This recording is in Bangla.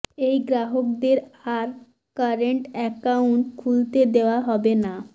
এই গ্রাহকদের আর কারেন্ট অ্যাকাউন্ট খুলতে দেওয়া হবে না